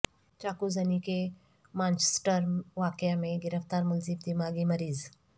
چاقو زنی کے مانچسٹر واقعہ میں گرفتار ملزم دماغی مریض